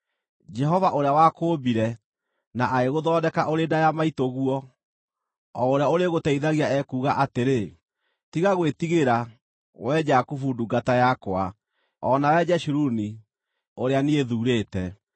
Jehova, ũrĩa wakũũmbire na agĩgũthondeka ũrĩ nda ya maitũguo, o ũrĩa ũrĩgũteithagia, ekuuga atĩrĩ: Tiga gwĩtigĩra, wee Jakubu, ndungata yakwa, o nawe Jeshuruni, ũrĩa niĩ thuurĩte.